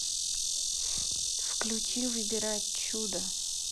включи выбирать чудо